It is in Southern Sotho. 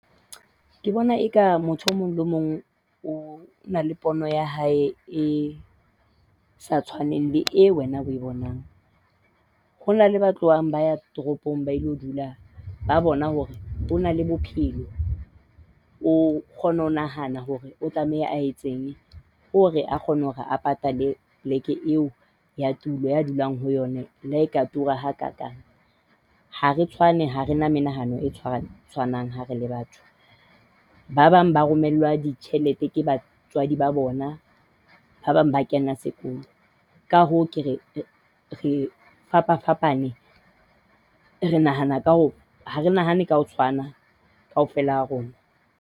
Ke bona eka motho o mong le mong o na le pono ya hae e sa tshwaneng le eo wena o e bonang. Ho na le ba tlohang ba ya toropong ba ilo dula ba bona hore ho na le bophelo. O kgona ho nahana hore o tlameha a etseng hore a kgone hore a patale poleke eo ya tulo eo a dulang ho yona le ha e ka tura hakaakang. Ha re tshwane ha re na menahano e tshwanang ha re le batho. Ba bang ba rongwellwa ditjhelete ke batswadi ba bona. Ba bang ba kena sekolo. Ka hoo, ke re re fapafapane. Re nahana ka hoo, ha re nahane ka ho tshwana kaofela ha rona.